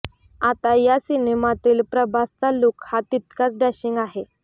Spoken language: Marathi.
आता या सिनेमातील प्रभासचा लूक हा तितकाच डॅशिंग आहे